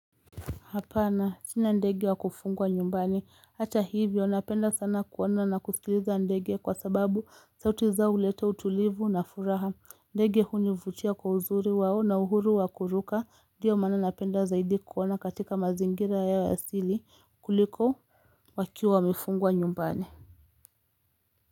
Hapana, sina ndege wa kufungwa nyumbani. Hata hivyo, napenda sana kuona na kusikiliza ndege kwa sababu sauti zao huleta utulivu na furaha. Ndege hunivutia kwa uzuri wao na uhuru wa kuruka. Ndio maana napenda zaidi kuona katika mazingira yao ya asili kuliko wakiwa wamefungwa nyumbani.